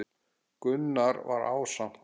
Gunnar var ásamt